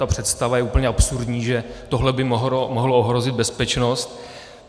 Ta představa je úplně absurdní, že tohle by mohlo ohrozit bezpečnost.